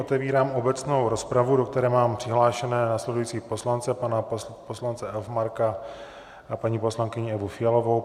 Otevírám obecnou rozpravu, do které mám přihlášené následující poslance - pana poslance Elfmarka a paní poslankyni Evu Fialovou.